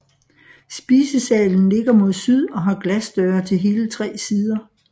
Spisesalen ligger mod syd og har glasdøre til hele tre sider